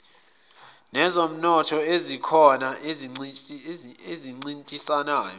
nezomnotho ezikhona ezincintisanayo